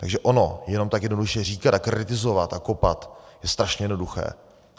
Takže ono jenom tak jednoduše říkat a kritizovat a kopat je strašně jednoduché.